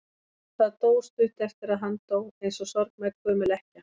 Það dó stuttu eftir að hann dó, eins og sorgmædd gömul ekkja.